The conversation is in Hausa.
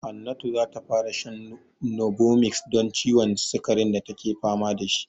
Hannatu za ta fara shan novomix don ciwon sikarin da take fama da shi.